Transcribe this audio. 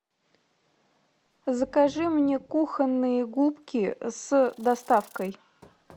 закажи мне кухонные губки с доставкой